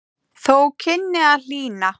Þó kynni að hlýna.